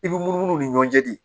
I b'u munumunu u ni ɲɔgɔn cɛ de